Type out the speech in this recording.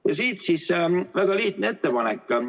Ja siit siis väga lihtne ettepanek.